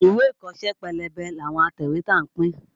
Ìwé ìkọ́ṣẹ́ pélébé làwọn atẹ̀wétà ń pín.